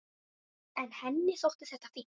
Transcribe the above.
En henni þótti þetta fínt.